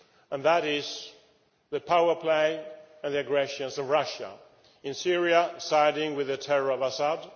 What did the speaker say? and that is the power play and aggression of Russia in Syria, siding with the terror of Assad